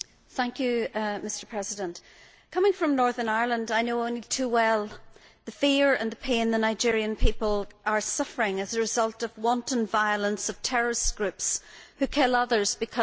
Mr President, coming from Northern Ireland, I know only too well the fear and the pain the Nigerian people are suffering as the result of the wanton violence of terrorist groups who kill others because of their religion.